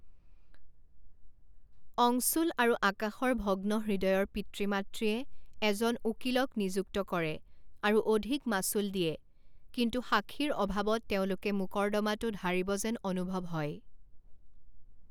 অংশুল আৰু আকাশৰ ভগ্নহৃদয়ৰ পিতৃ মাতৃয়ে এজন উকিলক নিযুক্ত কৰে আৰু অধিক মাচুল দিয়ে কিন্তু সাক্ষীৰ অভাৱত তেওঁলোকে মূকৰ্দমাটোত হাৰিব যেন অনুভৱ হয়।